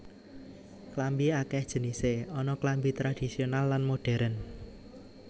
Klambi akèh jenisé ana klambi tradhisional lan modhèrn